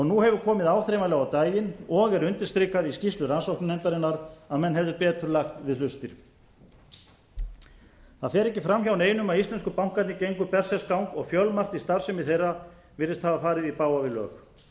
nú hefur komið áþreifanlega á daginn og er undirstrikað í skýrslu rannsóknarnefndarinnar að menn hefðu betur lagt við hlustir það fer ekki fram hjá neinum að íslensku bankarnir gengu berserksgang og fjölmargt í starfsemi þeirra virðist hafa farið í bága við lög